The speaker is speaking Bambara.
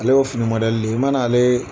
Ale y'o fini de ye